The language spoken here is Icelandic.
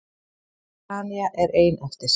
Tanya er ein eftir.